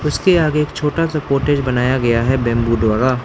इसके आगे एक छोटा सा कॉटेज बनाया गया है बैंबू द्वारा।